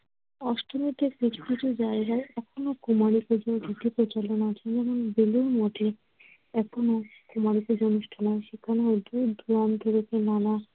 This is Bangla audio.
অষ্টমীতে কিছু কিছু জায়গায় এখনো কুমারী পুজার রীতি প্রচলন আছে। যেমন, বেলুর মঠে এখনো কুমারী পুজা অনুষ্ঠান হয়। সেখানে ধুপ, ধোয়া, নানা